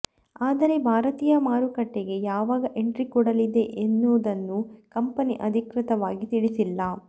ಆದರೆ ಭಾರತೀಯ ಮಾರುಕಟ್ಟೆಗೆ ಯಾವಾಗ ಎಂಟ್ರಿ ಕೊಡಲಿದೆ ಎನ್ನುವುದನ್ನು ಕಂಪನಿ ಅಧಿಕೃತವಾಗಿ ತಿಳಿಸಿಲ್ಲ